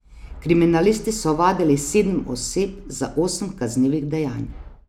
Kriminalisti so ovadili sedem oseb za osem kaznivih dejanj.